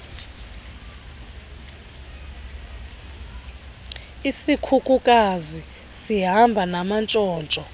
isikhukukazi sihamba namantshontsho